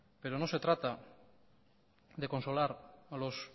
pero no se trata de consolar a los